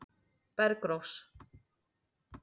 Bergrós